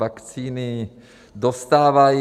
Vakcíny dostávají.